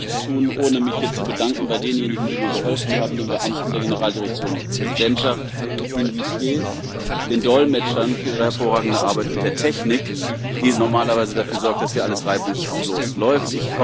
Ich möchte das nicht tun, ohne mich hier zu bedanken bei denjenigen, die mir geholfen haben den Beamten der Generaldirektion Präsidentschaft, den Saaldienern, den Dolmetschern für ihre hervorragende Arbeit und der Technik, die normalerweise dafür sorgt, dass hier alles reibungslos läuft.